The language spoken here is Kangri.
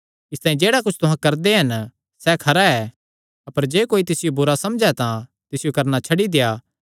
इसतांई जेह्ड़ा कुच्छ तुहां करदे हन सैह़ खरा ऐ अपर जे कोई तिसियो बुरा समझैं तां तिसियो करणा छड्डी देआ